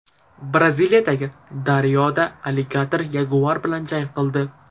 Braziliyadagi daryoda alligator yaguar bilan jang qildi.